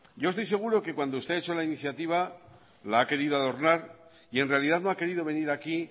yo estoy seguro que cuando usted ha hecho la iniciativa la ha querido adornar y en realidad no ha querido venir aquí